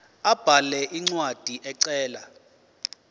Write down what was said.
abhale incwadi ecela